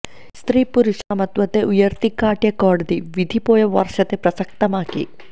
സ്ത്രീ പുരുഷ സമത്വത്തെ ഇയർത്തി കാട്ടിയ കോടതി വിധി പോയ വർഷത്തെ പ്രസക്തമാക്കി